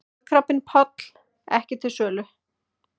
Kolkrabbinn Páll ekki til sölu